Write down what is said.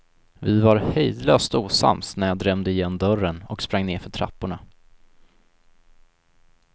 Vi var hejdlöst osams när jag drämde igen dörren och sprang nerför trapporna.